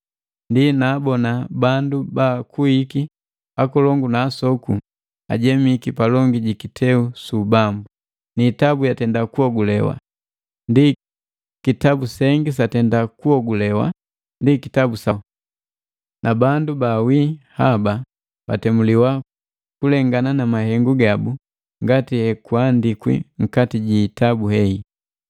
Ndi naabona bandu baakuiki akolongu na asoku, ajemiki palongi jikiteu su ubambu, niitabu yatenda kuhogulewa. Ndi kitabu sengi satenda kuogulewa, ndi kitabu sa womi. Na bandu baawi haba batemuliwa kulengana na mahengu gabu ngati hekuandikwi nkati ji itabu hei.